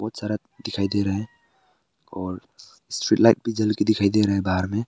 और सड़क दिखाई दे रहा है और भी जल के दिखाई दे रहा है बाहर में--